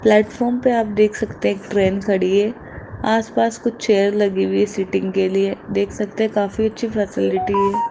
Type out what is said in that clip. Platform पर आप देख सकते हैं एक ट्रेन खड़ी है आसपास कुछ चेयर लगी हुई सीटिंग के लिए देख सकते हैं काफी अच्छी फैसिलिटी है।